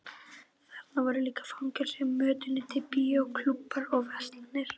Þarna voru líka fangelsi, mötuneyti, bíó, klúbbar og verslanir.